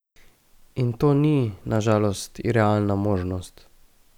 In to ni, na žalost, irealna možnost.